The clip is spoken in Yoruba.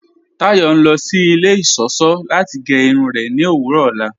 Táyọ̀ ń lọ sí ilẹ̀ iṣọ́ṣọ̀ láti gẹ́ irun rẹ̀ ní òwurọ̀ ọlá.